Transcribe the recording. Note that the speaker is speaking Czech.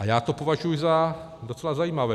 A já to považuji za docela zajímavé.